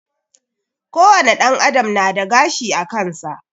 Ko wane ɗan adam nada gashi akansa